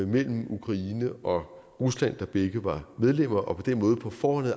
mellem ukraine og rusland der begge var medlemmer og på den måde på forhånd